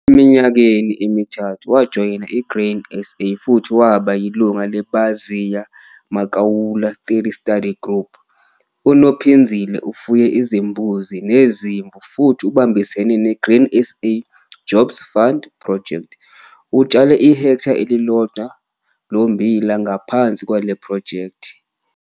Eminyakeni emithathu, wajoyina i-Grain SA futhi waba yilungu leBaziya Makaula 30 Study Group. UNophinzile ufuye izimbuzi nezimvu futhi ubambisene ne-Grain SA Jobs Fund Project. Utshale ihektha elilodwa lommbila ngaphansi kwale phrojekthi.